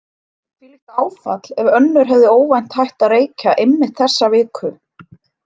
Hvílíkt áfall ef önnur hefði óvænt hætt að reykja einmitt þessa viku.